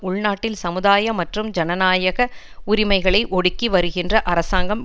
உள் நாட்டில் சமுதாய மற்றும் ஜனநாயக உரிமைகளை ஒடுக்கி வருகின்ற அரசாங்கம்